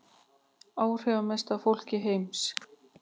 Áhrifamesta fólk heims